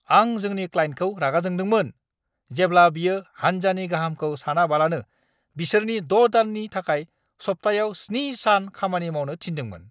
आं जोंनि क्लाइन्टखौ रागा जोंदोंमोन जेब्ला बियो हान्जानि गाहामखौ सानालाबानो बिसोरखौ 6 दाननि थाखाय सप्तायाव 7 सान खामानि मावनो थिनदोंमोन।